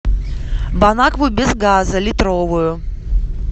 бонакву без газа литровую